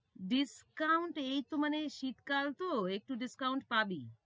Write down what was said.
discount এইতো মানে শীতকাল তো একটু discount ডিসকাউন্ট পাবি।